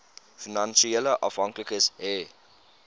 finansiële afhanklikes hê